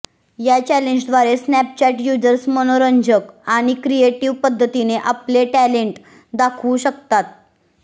या चॅलेंजद्वारे Snapchat users मनोरंजक आणि क्रिएटीव्ह पद्धतीने आपले टॅलेन्ट दाखवू शकतात